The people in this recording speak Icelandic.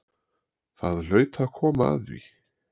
Það hlaut að koma að því!